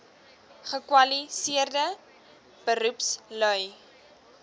gekwali seerde beroepslui